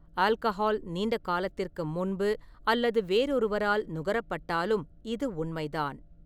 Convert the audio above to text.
Alcohol நீண்ட காலத்திற்கு முன்பு அல்லது வேறொருவரால் நுகரப்பட்டாலும் இது உண்மைதான்.